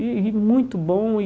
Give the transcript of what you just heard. E e muito bom e.